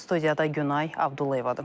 Studiyada Günay Abdullayevadır.